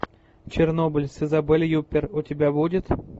чернобыль с изабель юппер у тебя будет